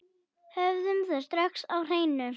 Höfum það strax á hreinu.